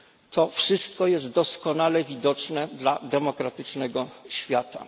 To wszystko jest doskonale widoczne dla demokratycznego świata.